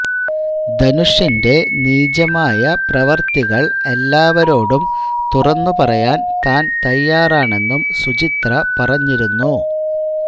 ധനുഷിന്റെ നീചമായ പ്രവൃത്തികൾ എല്ലാവരോടും തുറന്നു പറയാൻ താൻ തയാറാണെന്നും സുചിത്ര പറഞ്ഞിരുന്നു